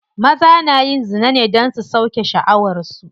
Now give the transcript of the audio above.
Maza na yin zina ne don su sauke sha'awar su.